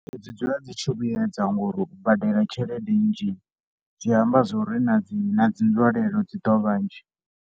Dzi dzula dzi tshi vhuedza ngori u badela tshelede nnzhi, zwi amba zwo ri na dzi na dzi nzwalelo dzi ḓo vhanzhi.